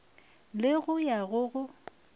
le go ya go go